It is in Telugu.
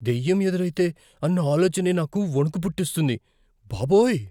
దెయ్యం ఎదురైతే అన్న ఆలోచనే నాకు వణుకు పుట్టిస్తుంది, బాబోయ్!